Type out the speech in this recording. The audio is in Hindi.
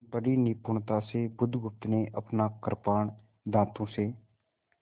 बड़ी निपुणता से बुधगुप्त ने अपना कृपाण दाँतों से